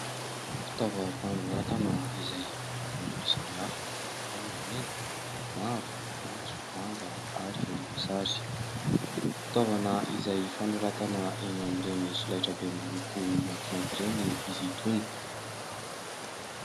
Fitaovam-panoratana izay amin'ny lokony maro samihafa : ao ny mena, mavo, maitso, manga ary volomboasary. Fitaovana izay fanoratana eny amin'ireny solaitrabe miloko maintimainty ireny izy itony.